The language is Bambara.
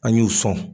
An y'u sɔn